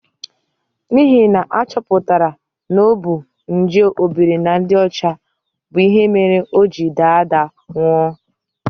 N'ihi na a chọpụtara na ọ bu nje obiri na ndị ọcha bụ ihe mere o ji daa daa nwụọ.